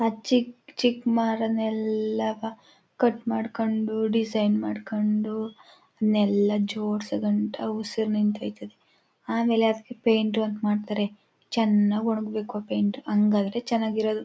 ಆ ಚಿಕ್ ಚಿಕ್ ಮರಗಳನಲ್ಲ ಕಟ್ ಮಾಡಿಕೊಂಡು ಸೆಂಡ್ ಮಾಡ್ಕೊಂಡು ಎಲ್ಲ ಜೋಡಿಸಿ ಆಮೇಲೆ ಪೈಂಟ್ ವರ್ಕ್ ಮಾಡುತ್ತಾರೆ ಚೆನ್ನಾಗಿ ಒಣಗಬೇಕು ಪೈಂಟ್ ಹಂಗಾದ್ರೆ ಚೆನಾಗಿರದು.